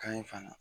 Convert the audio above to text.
Kan in fana